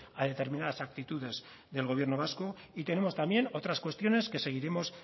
a determinadas actitudes del gobierno vasco y tenemos también otras cuestiones que seguiremos